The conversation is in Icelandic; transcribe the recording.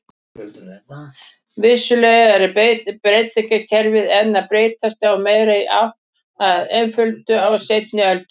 Vissulega eru beygingakerfi enn að breytast en meira í átt til einföldunar á seinni öldum.